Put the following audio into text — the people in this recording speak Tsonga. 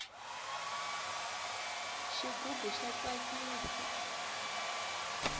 xigubu xa tsakisa